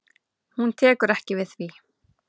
Hún tekur ekki við því.